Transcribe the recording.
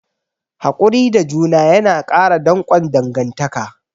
Hakuri da juna yana ƙara danƙon dangantaka.